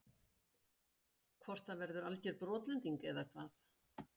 Hvort það verður alger brotlending eða hvað?